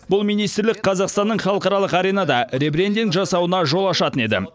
бұл министрлік қазақстанның халықаралық аренада ребрендинг жасауына жол ашатын еді